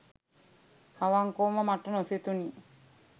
අවංකවම මට නොසිතුණි.